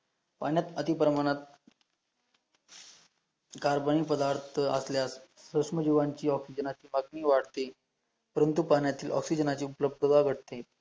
पाण्यात अतिप्रमाणात, कार्बन नी पदार्थ असल्यास प्रश्न जीवांची ऑक्सीजन ची पातनी वाढते, परंतु पाण्यातील ऑक्सीजन ची उपलब्धता भटते